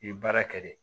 I ye baara kɛ de